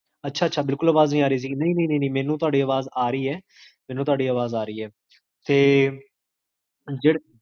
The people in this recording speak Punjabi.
ਅਛਾ ਅਛਾ,